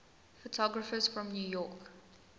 photographers from new york